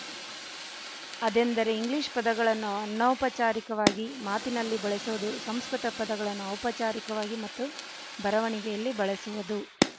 ಅದೆಂದರೆ ಇಂಗ್ಲಿಶ ಪದಗಳನ್ನು ಅನೌಪಚಾರಿಕವಾಗಿ ಮಾತಿನಲ್ಲಿ ಬಳಸುವುದು ಸಂಸ್ಕೃತ ಪದಗಳನ್ನು ಔಪಚಾರಿಕವಾಗಿ ಮತ್ತು ಬರವಣಿಗೆಯಲ್ಲಿ ಬಳಸುವುದು